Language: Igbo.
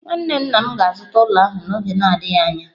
Nwanne nna m ga-azụta ụlọ ahụ n'oge na-adịghị anya.